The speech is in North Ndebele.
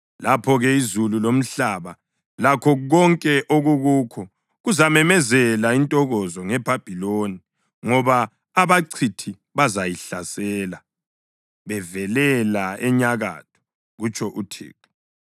Lapho-ke izulu lomhlaba lakho konke okukukho kuzamemezela intokozo ngeBhabhiloni, ngoba abachithi bazayihlasela bevelela enyakatho,” kutsho uThixo.